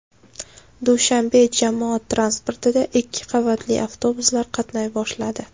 Dushanbe jamoat transportida ikki qavatli avtobuslar qatnay boshladi.